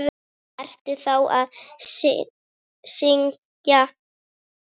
Ertu ennþá að syngja?